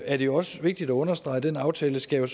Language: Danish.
er det også vigtigt at understrege at den aftale skal